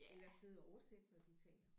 Eller sidde og oversætte når de taler